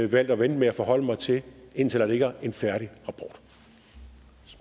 valgt at vente med at forholde mig til indtil der ligger en færdig